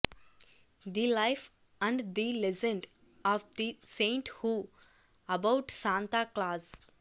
the life and the legend of the saint who about Santa clause